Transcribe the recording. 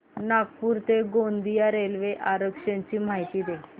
नागपूर ते गोंदिया रेल्वे आरक्षण ची माहिती दे